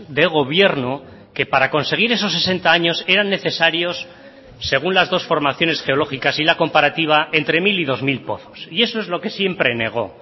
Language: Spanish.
de gobierno que para conseguir esos sesenta años eran necesarios según las dos formaciones geológicas y la comparativa entre mil y dos mil pozos y eso es lo que siempre negó